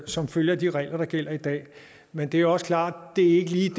som følge af de regler der gælder i dag men det er også klart at det ikke lige